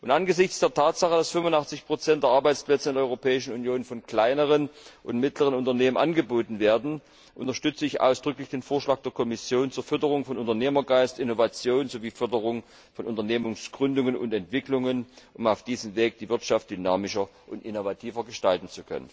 Angesichts der Tatsache, dass 85 der Arbeitsplätze in der Europäischen Union von kleinen und mittleren Unternehmen angeboten werden, unterstütze ich ausdrücklich den Vorschlag der Kommission zur Förderung von Unternehmergeist und Innovation sowie zur Förderung von Unternehmensgründungen und Entwicklungen, um auf diesem Weg die Wirtschaft dynamischer und innovativer gestalten zu können.